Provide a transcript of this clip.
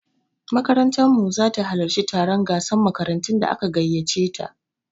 Makarantar mu zata halarci taron gasan makarantun da aka gaiyace ta